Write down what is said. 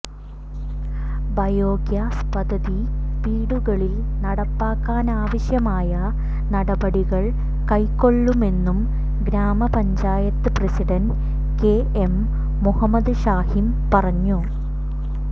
biogas പദ്ധതി വീടുകളിൽ നടപ്പാക്കാനാവശ്യമായ നടപടികൾ കൈക്കൊള്ളുമെന്നും ഗ്രാമ panchayat president K M Muhammad Hashim പറഞ്ഞു